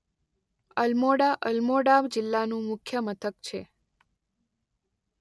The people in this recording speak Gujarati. અલમોડા અલમોડા જિલ્લા નું મુખ્ય મથક છે.